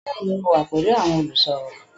Bẹ́ẹ̀ni, mo wà pẹ̀lú àwọn olùsọ̀rọ̀